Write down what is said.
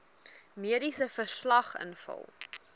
mediese verslag invul